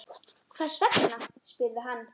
Hvers vegna? spurði hann.